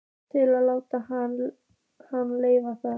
Til að láta hann heyra það?